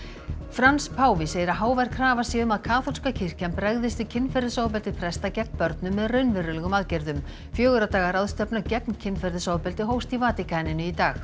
Frans páfi segir að hávær krafa sé um að kaþólska kirkjan bregðist við kynferðisofbeldi presta gegn börnum með raunverulegum aðgerðum fjögurra daga ráðstefna gegn kynferðisofbeldi hófst í Vatíkaninu í dag